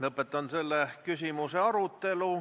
Lõpetan selle küsimuse arutelu.